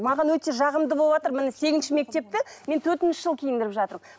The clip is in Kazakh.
маған өте жағымды болыватыр міне сегізінші мектепті мен төртінші жыл киіндіріп жатырмын